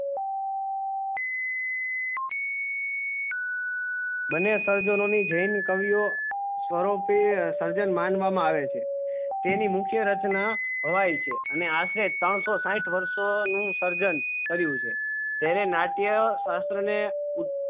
બન્ને સર્જનો ની જેન કવિયો સ્વરૂપે સ્ર્જન્માંનવા માં આવે છે તેની મુખ્ય રચના હોય છે અને હાથે ત્રણ સૌ સાઠ વર્ષો નું સર્જન કર્યું છે તેને નાટકીય શાસ્ત્ર ને